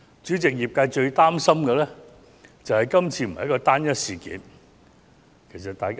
主席，業界最擔心的，是這次並非"單一事件"。